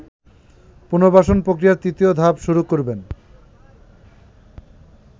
পুনর্বাসন প্রক্রিয়ার তৃতীয় ধাপ শুরু করবেন